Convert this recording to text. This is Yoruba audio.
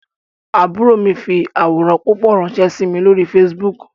Àbúrò mi fi àwòrán púpọ̀ ránsẹ́ sí mi lórí Facebook